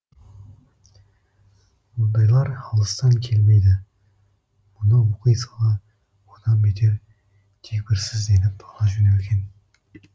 ондайлар алыстан келмейді мұны оқи сала одан бетер дегбірсізденіп ала жөнелген